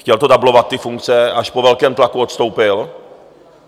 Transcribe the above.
Chtěl to dublovat, ty funkce a až po velkém tlaku odstoupil.